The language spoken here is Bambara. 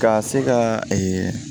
Ka se ka